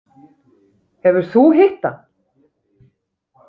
Hefur þú hitt hann?